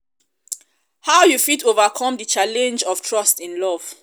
um how you fit overcome di challenge of trust in love?